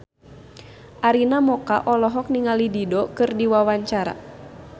Arina Mocca olohok ningali Dido keur diwawancara